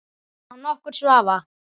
Án nokkurs vafa!